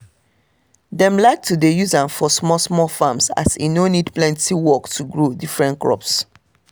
dem like to dey use am for small-small farms as e no need plenty work to grow different crops.